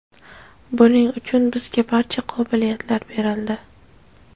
buning uchun bizga barcha qobiliyatlar berildi.